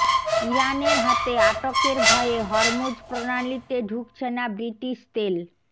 ইরানের হাতে আটকের ভয়ে হরমুজ প্রণালিতে ঢুকছে না ব্রিটিশ তেল